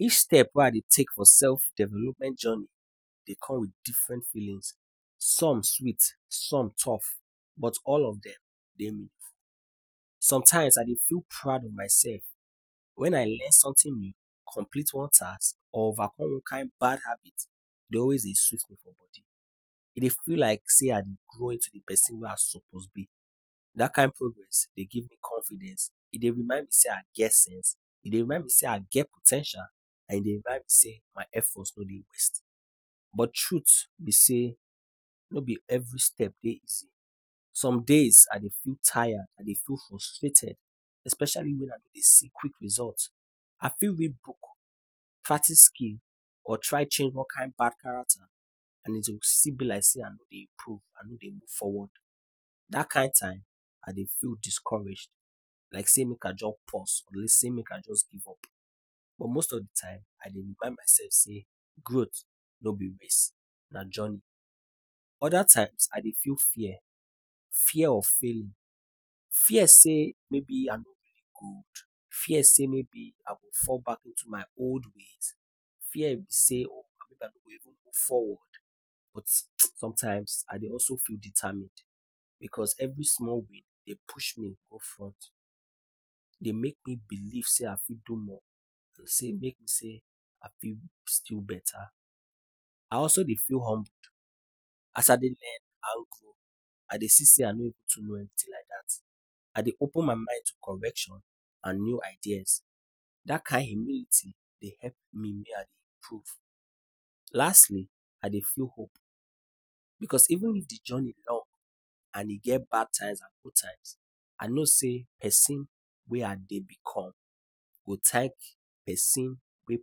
Each step wey I dey take for self-development journey, dey come with different feelings. Some sweet, some tough, but all of dem dey meaningful. Sometimes, I dey feel proud of myself when I learn something new, complete one task or overcome one kind bad habit. E dey always dey sweet me for body. E dey feel like say I dey grow into the pesin wey I suppose be. Dat kin progress, e dey give me confidence. E dey remind me say I get sense. E dey remind me say I get po ten tial, and e dey remind me say my effort no dey waste. But truth be say, no be every steps dey easy. Some days, I dey feel tired, I dey frustrated, especially when I no dey see quick results. I fit read book, practice skill or try change one bad character and e go still be like say I no dey improve, I no dey move forward. Dat kain time, I dey feel discouraged. Like say make I just pause. Like say make I just give up. But most of the time, I dey remind myself say growth no be waste na journey. Other times, I dey feel fear. Fear of failure. Fear say maybe I no good. Fear say maybe I go fall back to my old ways. Fear say I no go even move forward. But, sometimes I dey even dey determined. Because every small win dey push me go front. Dey make me believe say I fit do more. E dey make me say, I fit still better. I also dey feel humbled. As I dey learn grow, I dey see say I no too know anything like dat. I dey open my mind to corrections and new ideas. Dat kain humility dey help me mey I dey improve. Lastly, I dey feel hope. Because even if the journey long and e get bad times and good times, I know say pesin wey I dey become go thank pesin wey dey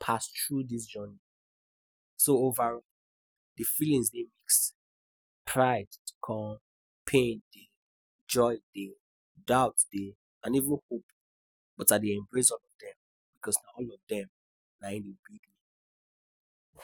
pass through the journey. So over, the feelings dey mixed. Pride come, pain dey, joy dey, doubt dey, and even hope — but I dey embrace all of dem, because na all of dem nayin build me.